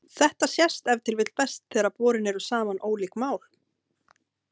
Þetta sést ef til vill best þegar borin eru saman ólík mál.